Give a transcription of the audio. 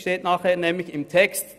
Das steht nachher im Text.